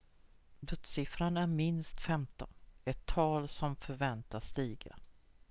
dödssiffran är minst 15 ett tal som förväntas stiga